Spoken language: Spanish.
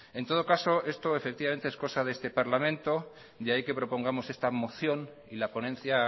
en todo caso esto es cosa de este parlamento de ahí que propongamos esta moción y la ponencia